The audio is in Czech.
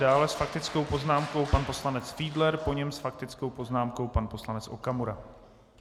Dále s faktickou poznámkou pan poslanec Fiedler, po něm s faktickou poznámkou pan poslanec Okamura.